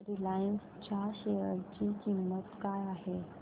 Reliance च्या share ची किंमत काय आहे